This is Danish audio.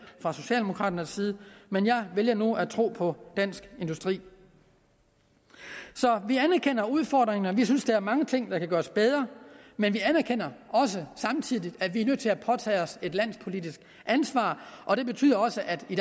fra socialdemokraternes side men jeg vælger nu at tro på dansk industri så vi anerkender udfordringen og vi synes der er mange ting der kan gøres bedre men vi anerkender også samtidig at vi er nødt til at påtage os et landspolitisk ansvar og det betyder også at vi